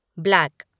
black